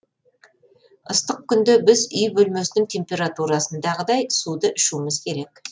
ыстық күнде біз үй бөлмесінің температурасындағыдай суды ішуіміз керек